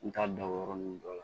N t'a dɔn o yɔrɔ nunnu dɔ la